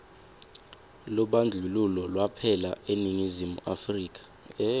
lubandlululo lwaphela eningizimu afrika